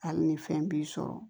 Hali ni fɛn b'i sɔrɔ